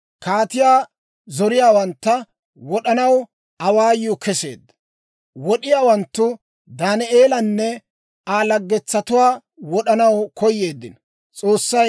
Kaatiyaa zoriyaawantta wod'anaw awaayuu keseedda. Wod'iyaawanttu Daaneelanne Aa laggetuwaa wod'anaw koyeeddino.